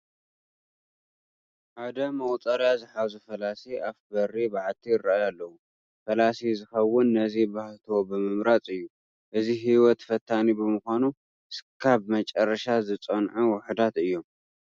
ሓደ መቑፀርያ ዝሓዙ ፈላሲ ኣፍ በሪ በዓቲ ይርአዩ ኣለዉ፡፡ ፈላሲ ዝኽወን ነዚ ተባህትዎ ብምምራፅ እዩ፡፡ እዚ ህይወት ፈታኒ ብምዃኑ እስካብ መጨረሻ ዝፀንዑ ውሑዳት እዮም፡፡